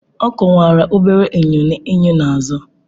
Ọ kwụwara obere enyo n'enyo n'azụ